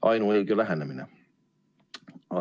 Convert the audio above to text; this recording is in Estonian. Ainuõige lähenemine.